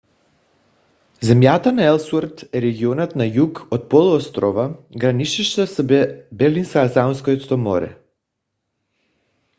земята на елсуърт е регионът на юг от полуострова граничеща с белингсхаузенското море